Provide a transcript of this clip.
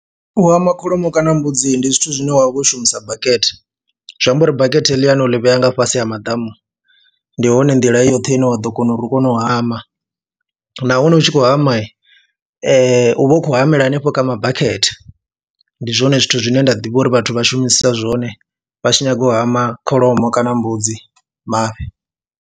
U hama kholomo kana mbudzi ndi zwithu zwine wa vha u shumisa bakete, zwi amba uri bakete heḽiani a ḽi vhea nga fhasi ha maḓamu, ndi hone nḓila i yoṱhe ine wa ḓo kona uri u kone u hama nahone hu tshi khou khou hama u vha u khou hamela hanefho kha mabakete, ndi zwone zwithu zwine nda ḓivha uri vhathu vha shumisa zwone vha tshi nyaga u hama kholomo kana mbudzi mafhi.